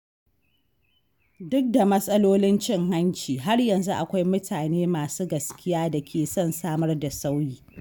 Duk da matsalolin cin hanci, har yanzu akwai mutane masu gaskiya da ke son samar da sauyi.